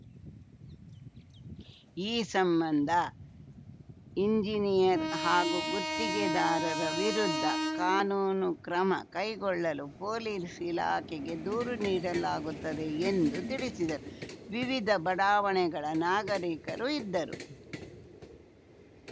ಈ ಸಂಬಂದ ಇಂಜಿನಿಯರ್‌ ಹಾಗೂ ಗುತ್ತಿಗೆದಾರರ ವಿರುದ್ಧ ಕಾನೂನು ಕ್ರಮ ಕೈಗೊಳ್ಳಲು ಪೊಲೀಸ್‌ ಇಲಾಖೆಗೆ ದೂರು ನೀಡಲಾಗುತ್ತದೆ ಎಂದು ತಿಳಿಸಿದರು ವಿವಿಧ ಬಡಾವಣೆಗಳ ನಾಗರಿಕರು ಇದ್ದರು